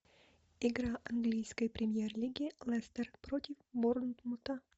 игра английской премьер лиги лестер против борнмута